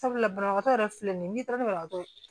Sabula banabagatɔ yɛrɛ filɛ nin ye n'i taara banabagatɔ